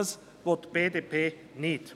Und das will die BDP nicht.